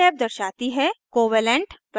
यह टैब दर्शाती है covalent